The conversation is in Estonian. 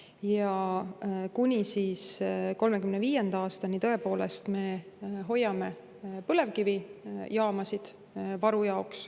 Ja kuni 2035. aastani me hoiame põlevkivijaamasid varu jaoks.